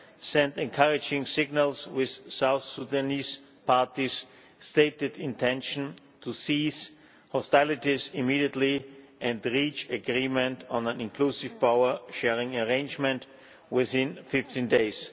sent encouraging signals, with South Sudanese parties stating their intention to cease hostilities immediately and reach agreement on an inclusive power sharing arrangement within 15 days.